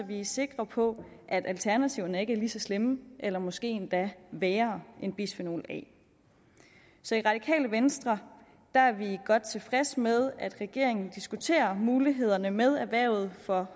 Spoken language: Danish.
vi er sikre på at alternativerne ikke er lige så slemme eller måske endda værre en bisfenol a så i radikale venstre er er vi godt tilfredse med at regeringen diskuterer mulighederne med erhvervet for